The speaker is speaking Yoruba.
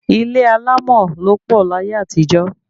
Ilé alámọ̀ ló pọ̀ láyé àtijọ́